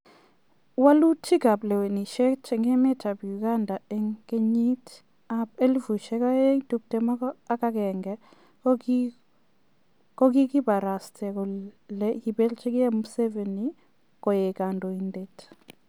Wolutik ab lewenisiet en emet ab Uganda en keyiit ab 2021 kogogibarasta kele koibeljigei Museveni koi kodoindet.